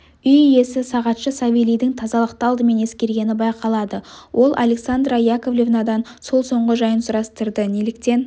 үй иесі сағатшы савелийдің тазалықты алдымен ескергені байқалады ол александра яковлевнадан сол соңғы жайын сұрастырды неліктен